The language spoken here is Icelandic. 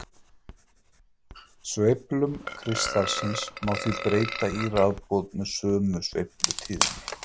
Sveiflum kristallsins má því breyta í rafboð með sömu sveiflutíðni.